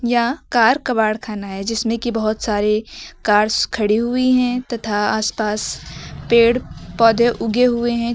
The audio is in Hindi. यहां कार कबाड़खाना है जिसमें कि बहुत सारे कारस खड़ी हुई हैं तथा आसपास पेड़ पौधे उगे हुए हैं जो--